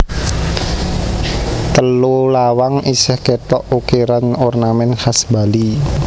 Telu lawang isih kétok ukiran ornamèn khas Bali